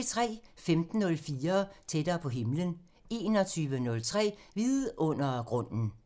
15:04: Tættere på himlen 21:03: Vidundergrunden